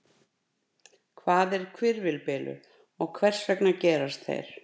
Hvað er hvirfilbylur og hvers vegna gerast þeir?